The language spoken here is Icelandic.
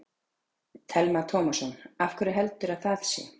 Telma Tómasson: Af hverju heldurðu að það sé?